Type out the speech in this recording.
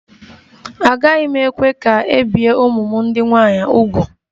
Agaghị m ekwe ka e bie ụmụ m ndị nwaanyị úgwù